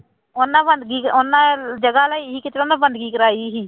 ਉਹਨਾਂ ਬੰਦਗੀ ਉਹਨਾਂ ਜਗ੍ਹਾ ਲਈ ਸੀ ਕਿਤੇ ਉਹਨਾਂ ਬੰਦਗੀ ਕਰਵਾਈ ਸੀਗੀ।